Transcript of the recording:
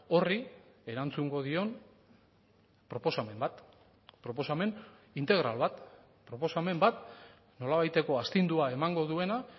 horri erantzungo dion proposamen bat proposamen integral bat proposamen bat nolabaiteko astindua emango duena